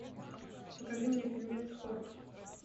покажи мне фильмец хор